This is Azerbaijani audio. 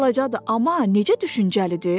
Balacadır, amma necə düşüncəlidir?